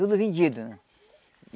Tudo vendido, né?